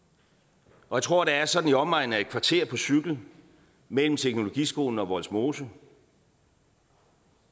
og jeg tror at der er sådan i omegnen af et kvarter på cykel mellem teknologiskolen og vollsmose